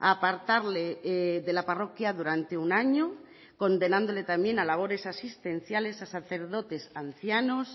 a apartarle de la parroquia durante un año condenándole también a labores asistenciales a sacerdotes ancianos